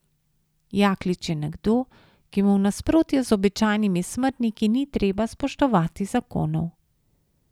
Jaklič je nekdo, ki mu v nasprotju z običajnimi smrtniki ni treba spoštovati zakonov.